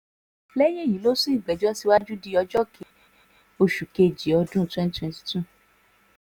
lẹ́yìn èyí ló sún ìgbẹ́jọ́ síwájú di ọjọ́ ke oṣù kejì ọdún twenty twenty two